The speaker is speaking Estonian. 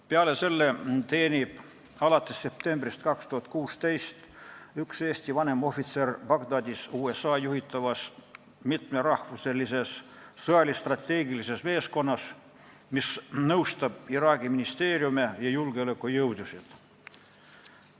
Peale selle teenib alates septembrist 2016 üks Eesti vanemohvitser Bagdadis USA juhitavas mitmerahvuselises sõjalis-strateegilises meeskonnas, mis nõustab Iraagi ministeeriume ja julgeolekujõudusid.